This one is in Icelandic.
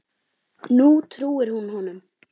Nú trúir hún honum.